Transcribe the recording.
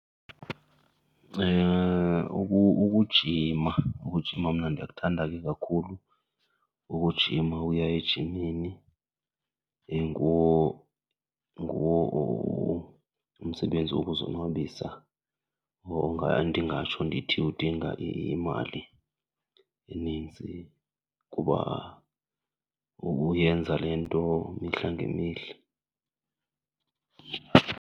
Ukujima, ukujima mna ndiyakuthanda ke kakhulu, ukujima uya ejimini. Nguwo, nguwo umsebenzi wokuzonwabisa ondingatsho ndithi udinga imali eninzi kuba uyenza le nto mihla ngemihla.